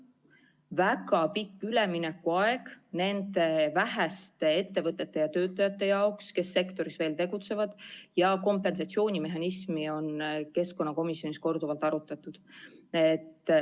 Ja väga pikk üleminekuaeg on antud nende väheste ettevõtete ja töötajate jaoks, kes sektoris tegutsevad, ja kompensatsioonimehhanismi on keskkonnakomisjonis ka korduvalt arutatud.